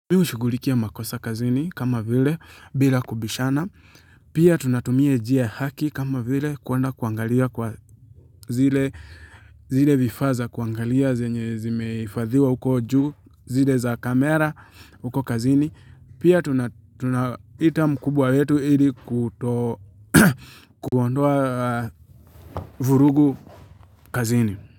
Mi hushughulikia makosa kazini kama vile bila kubishana, pia tunatumia njia ya haki kama vile kuenda kuangalia kwa zile vifaa za kuangalia zenye zimehifadhiwa uko juu, zile za kamera, uko kazini, pia tunaita mkubwa wetu ili kuto kuondoa vurugu kazini.